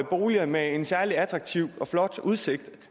boliger med en særlig attraktiv og flot udsigt